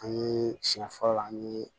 An ye siɲɛ fɔlɔ an ye